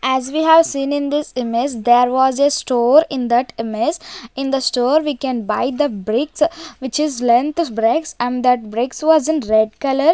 as we have seen in this image there was a store in that image in the store we can buy the bricks which is and that bricks was in red colour.